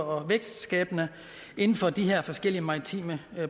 vækstskabende inden for de her forskellige maritime